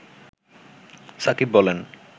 সাকিব বলেন